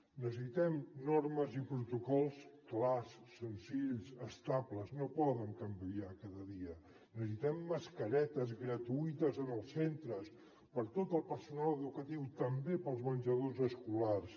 necessitem normes i protocols clars senzills estables no poden canviar cada dia necessitem mascaretes gratuïtes en els centres per a tot el personal educatiu també per als menjadors escolars